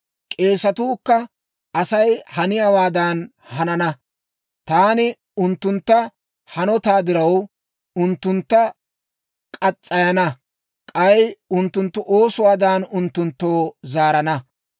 K'eesetuukka Asay haniyaawaadan hanana. Taani unttunttu hanotaa diraw, unttuntta murana; k'ay unttunttu oosuwaadan, unttunttoo zaarana.